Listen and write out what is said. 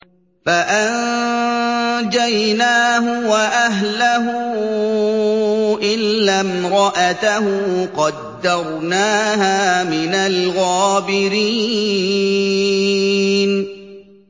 فَأَنجَيْنَاهُ وَأَهْلَهُ إِلَّا امْرَأَتَهُ قَدَّرْنَاهَا مِنَ الْغَابِرِينَ